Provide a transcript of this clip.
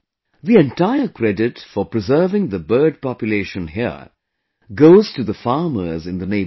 The entire credit for preserving the bird population here goes to the farmers in the neighbourhood